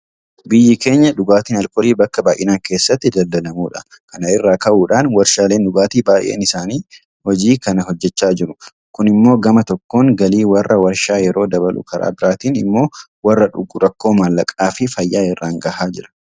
Biyyi keenya dhugaatiin aalkoolii bakka baay'inaan keessatti daldalamudha. Kana irraa ka'uudhaan warshaaleen dhugaatii baay'een isaanii hojii kana hojjechaa jiru. Kun immoo gama tokkoon galii warra warshaa yeroo dabalu karaa biraatiin immoo warra dhugu rakkoo maallaqaafi fayyaa irraan gahaa jira.